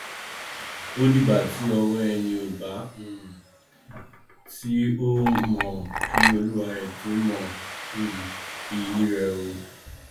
ó di ìgbà ti ọwọ ẹni ò bá um tó o mọ kí olúwarẹ tó mọ um iyì rẹ o